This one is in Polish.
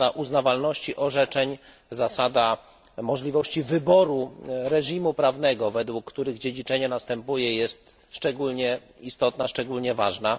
Zasada uznawalności orzeczeń, zasada możliwości wyboru reżimu prawnego, według którego dziedziczenie następuje, jest szczególnie istotna, szczególnie ważna.